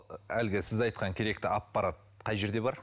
әлгі сіз айтқан керекті аппарат қай жерде бар